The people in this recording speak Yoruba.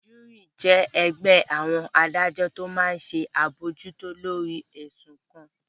Júúrì jẹ́ ẹgbẹ́ àwọn adájọ́ tó máa n ṣe àbojútó lórí ẹ̀sùn kan